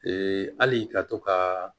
hali ka to ka